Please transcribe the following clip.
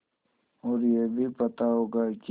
और यह भी पता होगा कि